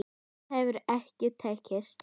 Það hefur ekki tekist.